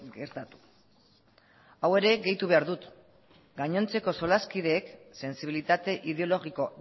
gertatu hau ere gehitu behar dut gainontzeko solaskideek sentsibilitate ideologiko